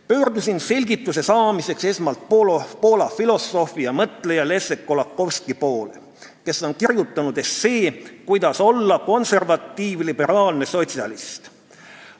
Pöördusin selgituse saamiseks esmalt Poola filosoofi ja mõtleja Leszek Kolakowski poole, kes on kirjutanud essee sellest, kuidas olla konservatiiv-liberaalne sotsialist.